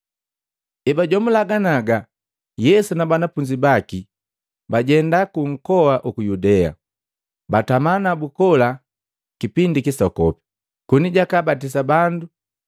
Ebajomula ganiaga Yesu na banafunzi baki bajenda ku nkoa uku Yudea, batama nabu kola kipindi kisokopi, koni jakabatisa bandu.